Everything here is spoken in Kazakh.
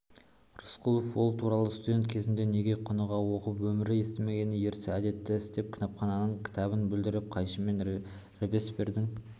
рысқұлов ол туралы студент кезінде неге құныға оқып өмірі істемеген ерсі әдетті істеп кітапхананың кітабын бүлдіріп қайшымен робеспьердің